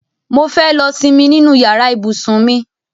Mo fẹ́ lọ simi nínú yàrá ibùsùn mi